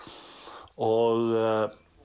og